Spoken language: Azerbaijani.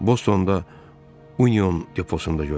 Bostonda Union deposunda görmüşəm.